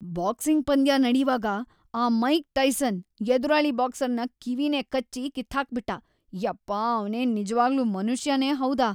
Boxing ಪಂದ್ಯ ನಡೀವಾಗ ಆ ಮೈಕ್‌ ಟೈಸನ್ ಎದುರಾಳಿ ಬಾಕ್ಸರ್‌ನ ಕಿವಿನೇ ಕಚ್ಬಿ ಕಿತ್ಹಾಕ್ಬಿಟ್ಟ, ಯಪ್ಪಾ ಅವ್ನೇನ್‌ ನಿಜ್ವಾಗ್ಲೂ ಮನುಷ್ಯನೇ ಹೌದಾ?!